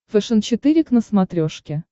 фэшен четыре к на смотрешке